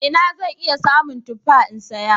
A ina zan iya samun tuffa in saya?